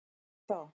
Þú ert þá?